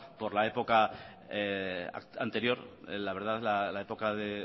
por la época anterior la verdad la época de